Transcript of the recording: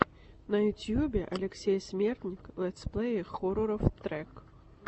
на ютюбе алексей смертник летсплеи хорроров трек